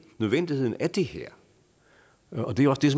nødvendigheden af det her